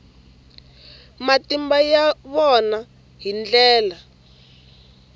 matimba ya vona hi ndlela